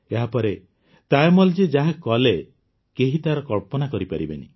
ଏହାପରେ ତାୟମ୍ମଲଜୀ ଯାହା କଲେ କେହି ତାର କଳ୍ପନା କରପାରିବେ ନାହିଁ